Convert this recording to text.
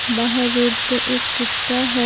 बाहर रोड पर एक कुत्ता है।